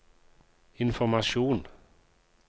informasjon